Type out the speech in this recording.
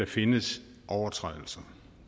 findes overtrædelser